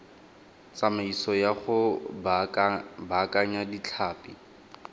tsamaiso ya go baakanya ditlhapi